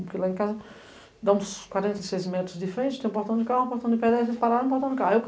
Porque lá em casa, dá uns quarenta e seis metros de frente, tem um portão de carro, um portão de pedestre, eles pararam no portão de carro.